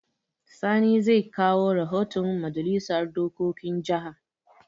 Sani zai kawo rahoton Majalisar dokokin jaha.